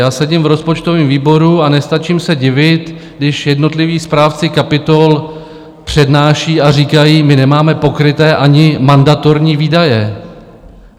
Já sedím v rozpočtovém výboru a nestačím se divit, když jednotliví správci kapitol přednášejí a říkají: My nemáme pokryté ani mandatorní výdaje.